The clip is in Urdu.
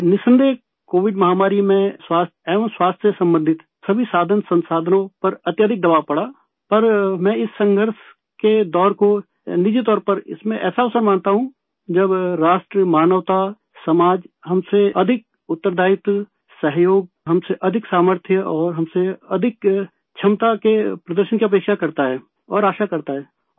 بلاشبہ، کووڈ وبا میں صحت اور صحت سے متعلق سبھی وسائل پر بہت دباؤ پڑا، لیکن میں اس جنگ کے دور کو ذاتی طور پر ایک ایسا موقع مانتا ہوں، جب ملک، انسانیت ، سماج ہم سے زیادہ فرض کی ادائیگی، تعاون ، ہم سے زیادہ ، ہم سے زیادہ اچھی کارکردگی اور ہم سے زیادہ صلاحیت کا مظاہرہ کرنے کی توقع کرتا ہے اور امید کرتا ہے